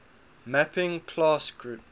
mapping class group